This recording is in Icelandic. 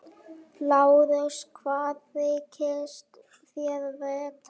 LÁRUS: Hvað þykist þér vita?